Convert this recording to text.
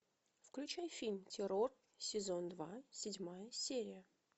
включай фильм террор сезон два седьмая серия